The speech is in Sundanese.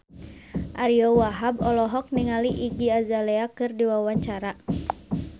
Ariyo Wahab olohok ningali Iggy Azalea keur diwawancara